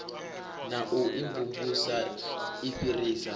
na u imvumvusa i fhirisa